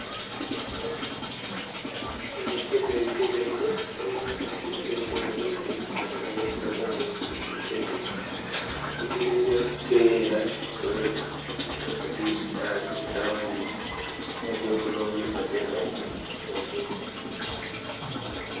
Ee kete ketereto iltungana te nkoitoi sidai eibenyat ilshambaii lenche, iteleliaa siaai oreren kitu kiti naijo kulo neipslilia ndaikin enche.